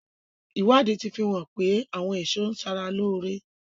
Ìwádìí tí fi hàn pé àwọn èso ń ṣara lóore.